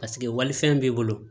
Paseke walifɛn b'i bolo